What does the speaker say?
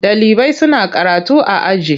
Ɗalibai suna karatu a aji.